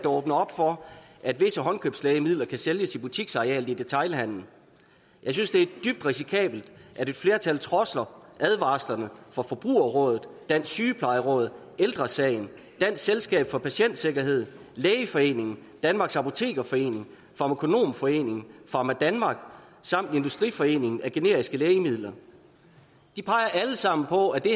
åbner op for at visse håndkøbslægemidler kan sælges i butiksarealet i detailhandelen jeg synes det er dybt risikabelt at et flertal trodser advarslerne fra forbrugerrådet dansk sygeplejeråd ældre sagen dansk selskab for patientsikkerhed lægeforeningen danmarks apotekerforening farmakonomforeningen pharmadanmark samt industriforeningen for generiske lægemidler de peger alle sammen på at det